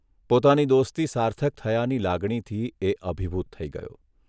પોતાની દોસ્તી સાર્થક થયાની લાગણીથી એ અભિભૂત થઇ ગયો.